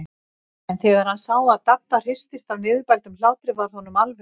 En þegar hann sá að Dadda hristist af niðurbældum hlátri varð honum alveg sama.